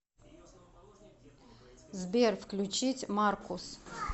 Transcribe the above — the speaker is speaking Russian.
сбер включить маркус